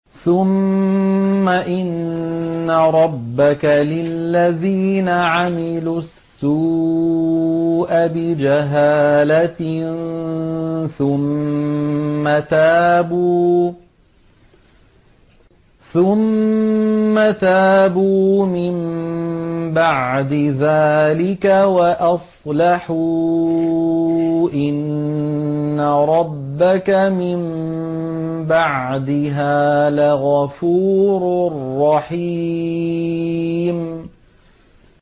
ثُمَّ إِنَّ رَبَّكَ لِلَّذِينَ عَمِلُوا السُّوءَ بِجَهَالَةٍ ثُمَّ تَابُوا مِن بَعْدِ ذَٰلِكَ وَأَصْلَحُوا إِنَّ رَبَّكَ مِن بَعْدِهَا لَغَفُورٌ رَّحِيمٌ